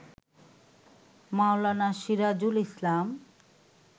মাওলানা Sirajul ইসলাম